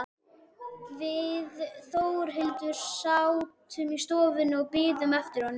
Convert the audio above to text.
Við Þórhildur sátum í stofu og biðum eftir honum.